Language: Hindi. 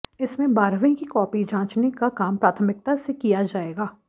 इसमें बारहवीं की कॉपी जांचने का काम प्राथमिकता से किया जाएगा